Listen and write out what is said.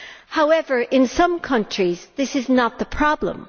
However, in some countries, this is not the problem.